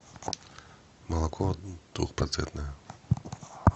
молоко двухпроцентное